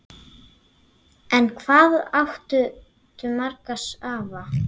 En hvað áttu marga afa?